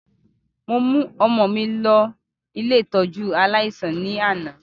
Mo mu ọmọ mi lọ si ile ìtójú aláísàn ni ana.